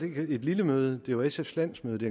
ikke et lille møde det var sfs landsmøde det